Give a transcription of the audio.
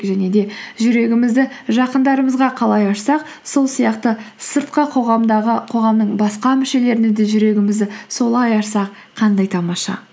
және де жүрегімізді жақындарымызға қалай ашсақ сол сияқты сыртқы қоғамдағы қоғамның басқа мүшелеріне де жүрегімізді солай ашсақ қандай тамаша